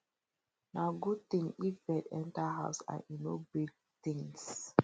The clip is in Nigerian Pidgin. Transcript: nah good thing if bird enter house and e no break things